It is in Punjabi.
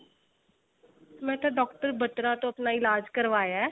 ਮੈਂ ਤਾਂ doctor ਬਤਰਾ ਤੋਂ ਆਪਣਾ ਇਲਾਜ ਕਰਵਾਇਆ